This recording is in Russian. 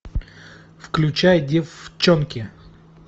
включай деффчонки